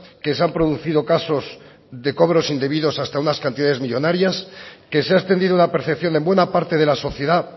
que se han producido casos de cobros indebidos hasta unas cantidades millónarias que se ha extendido la percepción en buena parte de la sociedad